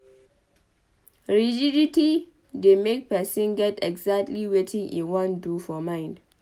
Rigidity dey make person get exactly wetin im wan do for mind